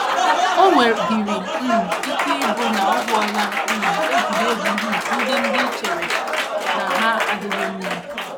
O nwedịrị um ike ịbụ na o gwuola um egwuregwu um ndị ndị i chere na ha adịghị mma.